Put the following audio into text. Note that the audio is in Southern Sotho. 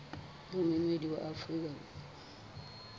le moemedi wa afrika borwa